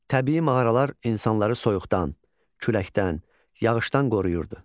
Təbii mağaralar insanları soyuqdan, küləkdən, yağışdan qoruyurdu.